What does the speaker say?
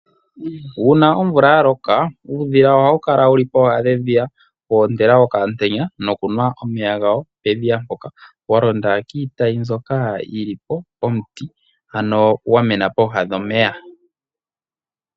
Uuna omvula ya loka uudhila ohawu kala wu li pooha dhedhiya woontela okamutenya nokunwa omeya gawo pedhiya mpoka wa londa kiitayi mbyoka yi li pomuti ano gwa mena pooha dhomeya.